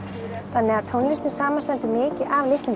þannig að tónlistin samanstendur mikið af litlum